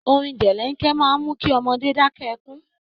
Orin jẹ̀lẹ̀ńkẹ́ máa ń mú kí ọmọdé dákẹ́ ẹkún